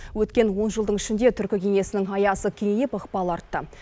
өткен он жылдың ішінде түркі кеңесінің аясы кеңейіп ықпалы артты